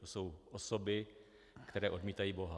To jsou osoby, které odmítají boha.